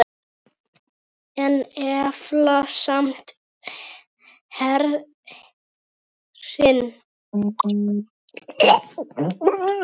Umlukt þig með örmum mínum.